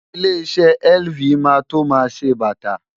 Ilé-iṣẹ́ LV máa tó máa ṣe bàtà.